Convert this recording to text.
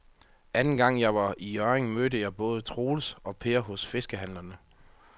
Anden gang jeg var i Hjørring, mødte jeg både Troels og Per hos fiskehandlerne.